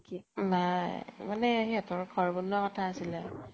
নাই মানে সিহঁতৰ ঘৰ বনোৱা কথা আছিলে